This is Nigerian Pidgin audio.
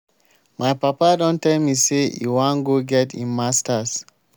my papa don tell me say e wan go get im masters